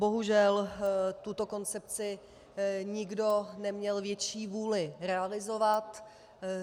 Bohužel tuto koncepci nikdo neměl větší vůli realizovat.